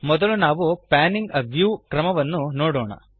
ಮೊದಲು ನಾವು panning a view ಕ್ರಮವನ್ನು ನೋಡೋಣ